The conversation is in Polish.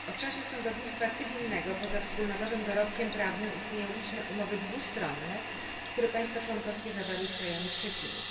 W obszarze sądownictwa cywilnego, poza wspólnotowym dorobkiem prawnym, istnieją liczne umowy dwustronne, które państwa członkowskie zawarły z krajami trzecimi.